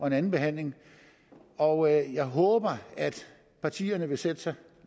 en andenbehandling og jeg håber at partierne vil sætte sig